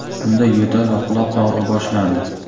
Unda yo‘tal va quloq og‘rig‘i boshlandi.